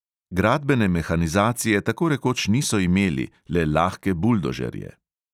Gradbene mehanizacije tako rekoč niso imeli, le lahke buldožerje.